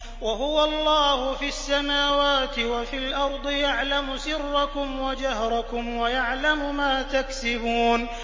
وَهُوَ اللَّهُ فِي السَّمَاوَاتِ وَفِي الْأَرْضِ ۖ يَعْلَمُ سِرَّكُمْ وَجَهْرَكُمْ وَيَعْلَمُ مَا تَكْسِبُونَ